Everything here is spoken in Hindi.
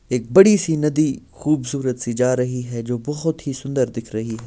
एक बड़ी सी नदी खुबसूरत सी जा रही हैं जो बहुत ही सुंदर दिख रही हैं।